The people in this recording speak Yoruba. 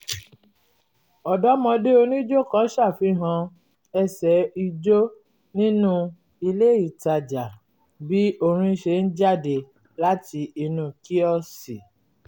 ọ̀dọ́mọdé onijó kan ṣàfihàn ẹsẹ̀ ijó nínú ilé itaja bí orin ṣe ń jáde láti inú kíọ̀sì